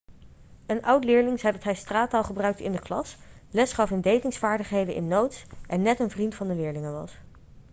een oud-leerling zei dat hij straattaal gebruikte in de klas lesgaf in datingsvaardigheden in notes en net een vriend van de leerlingen was'